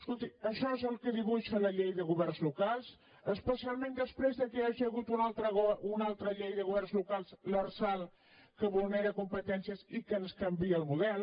escolti això és el que dibuixa la llei de governs locals especialment després que hi hagi hagut una altra llei de governs locals l’lrsal que vulnera competències i que ens canvia el model